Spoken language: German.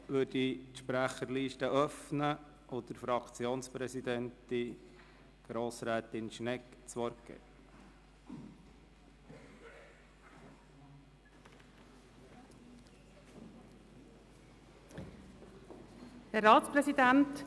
Damit öffne ich die Sprecherliste und erteile der EVP-Fraktionspräsidentin, Grossrätin Schnegg, das Wort.